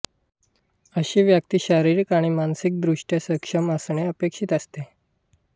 अशी व्यक्ती शारीरिक आणि मानसिक दृष्ट्या सक्षम असणे अपेक्षित असते